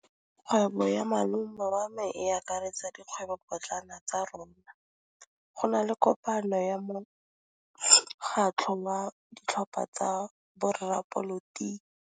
Kgwêbô ya malome wa me e akaretsa dikgwêbôpotlana tsa rona. Go na le kopanô ya mokgatlhô wa ditlhopha tsa boradipolotiki.